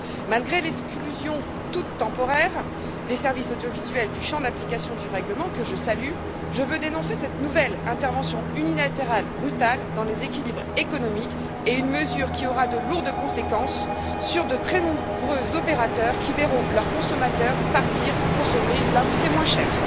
Malgré l'exclusion, toute temporaire, des services audiovisuels du champ d'application du règlement que je salue je veux dénoncer cette nouvelle intervention unilatérale brutale dans les équilibres économiques, une mesure qui aura de lourdes conséquences sur de très nombreux opérateurs, qui verront leurs consommateurs partir consommer là où c'est moins cher.